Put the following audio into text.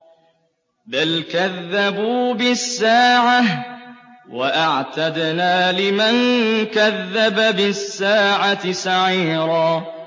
بَلْ كَذَّبُوا بِالسَّاعَةِ ۖ وَأَعْتَدْنَا لِمَن كَذَّبَ بِالسَّاعَةِ سَعِيرًا